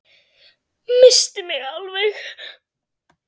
Missti mig alveg!